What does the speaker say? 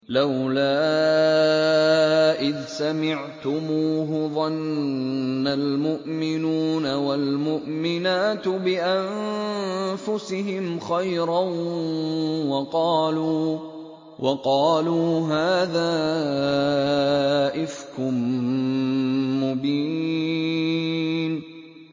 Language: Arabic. لَّوْلَا إِذْ سَمِعْتُمُوهُ ظَنَّ الْمُؤْمِنُونَ وَالْمُؤْمِنَاتُ بِأَنفُسِهِمْ خَيْرًا وَقَالُوا هَٰذَا إِفْكٌ مُّبِينٌ